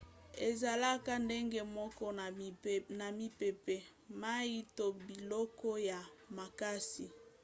ezalaka ndenge moko na mipepe mai to biloko ya makasi